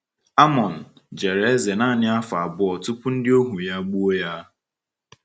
Amon jere eze naanị afọ abụọ tupu ndị ohu ya gbuo ya.